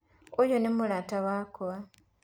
ũyũ nĩ mũrata wakwa.